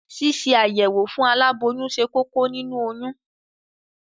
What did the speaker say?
Ṣíṣe àyẹ̀wò fún aláboyún ṣe kókó nínu oyún.